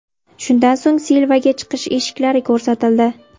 Shundan so‘ng Silvaga chiqish eshiklari ko‘rsatildi.